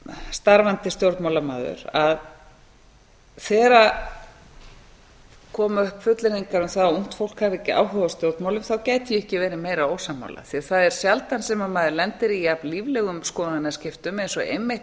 starfandi stjórnmálamaður að þegar koma upp fullyrðingar um það að ungt fólki hafi ekki áhuga á stjórnmálum þá gæti ég ekki verið meira ósammála því það er sjaldan sem maður lendir í jafn líflegum skoðanaskiptum eins og einmitt